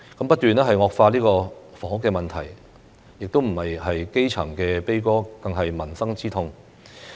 不斷惡化的房屋問題不止是基層悲歌，更是民生之痛。